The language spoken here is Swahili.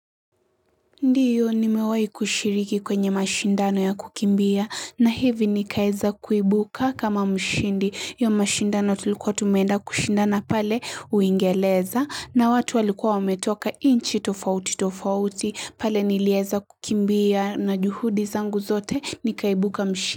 Ndio nimewai kushiriki kwenye mashindano ya kukimbia na hivi nikaeza kuibuka kama mshindi ya mashindano tulikuwa tumeenda kushindana pale uingereza na watu walikuwa wametoka nchi tofauti tofauti pale nilieza kukimbia na juhudi zangu zote nikaibuka mshindi.